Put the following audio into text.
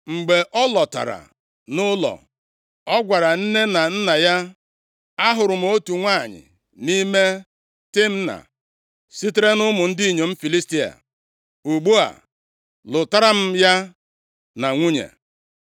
Mgbe ọ lọtara nʼụlọ, ọ gwara nne na nna ya, “Ahụrụ m otu nwanyị nʼime Timna + 14:2 \+xt Jen 38:13; Jos 15:10,57\+xt* sitere nʼụmụ ndị inyom Filistia; ugbu a, lụtara m ya na nwunye.”